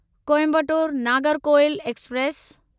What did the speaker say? Coimbatore Nagercoil express